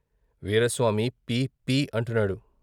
వీరస్వామి పీ పీ అంటున్నాడు.